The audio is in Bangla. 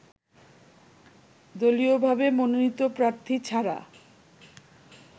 দলীয়ভাবে মনোনীত প্রার্থী ছাড়া